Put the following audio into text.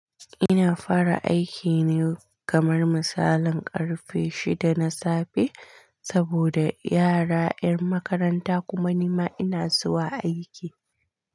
Ina fara aiki ne kamar misalin ƙarfe shida na safe saboda yara 'yan makaranta kuma ni ma ina zuwa aiki.